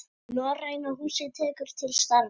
Norræna húsið tekur til starfa